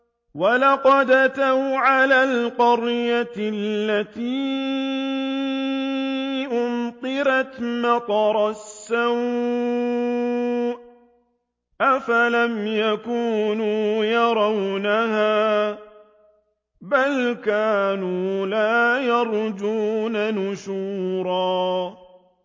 وَلَقَدْ أَتَوْا عَلَى الْقَرْيَةِ الَّتِي أُمْطِرَتْ مَطَرَ السَّوْءِ ۚ أَفَلَمْ يَكُونُوا يَرَوْنَهَا ۚ بَلْ كَانُوا لَا يَرْجُونَ نُشُورًا